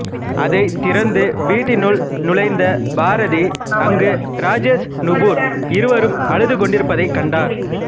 அதைத் திறந்து வீட்டினுள் நுழைந்த பாரதி அங்கு ராஜேஷ் நுபுர் இருவரும் அழுது கொண்டிருப்பதைக் கண்டார்